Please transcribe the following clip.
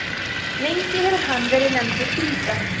lengi hefur hann verið nefndur grýta